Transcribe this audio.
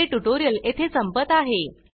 हे ट्यूटोरियल येथे संपत आहे